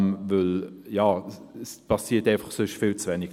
Denn es passiert sonst viel zu wenig.